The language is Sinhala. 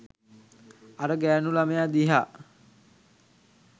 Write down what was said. අර ගෑණු ළමයා දිහා